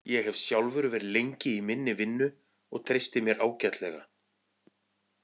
Ég hef sjálfur verið lengi í minni vinnu og treysti mér ágætlega.